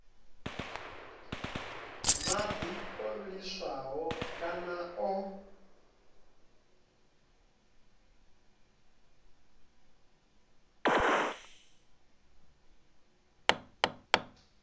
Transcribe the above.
madi o vhiliswaho kana o